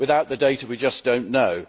without the data we just do not know.